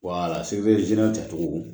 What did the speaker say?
walasi zen tacogo